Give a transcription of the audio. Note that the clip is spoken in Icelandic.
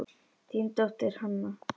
Þín dóttir, Hanna.